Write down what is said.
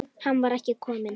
Hann var ekki kominn.